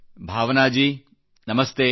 ಭಾವನಾ ಜೀ ನಮಸ್ತೆ